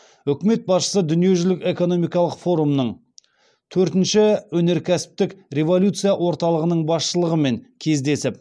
үкімет басшысы дүниежүзілік экономикалық форумның төртінші өнеркәсіптік революция орталығының басшылығымен кездесіп